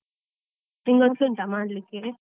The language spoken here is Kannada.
ನಿಂಗೆ ಮನ್ಸು ಉಂಟ ಮಾಡ್ಲಿಕ್ಕೆ?